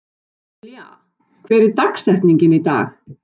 Dilja, hver er dagsetningin í dag?